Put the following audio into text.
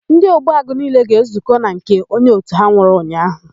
Ndị Ogbuagụ niile ga-ezukọ na nke onye òtù ha nwụrụ ụnyaahụ.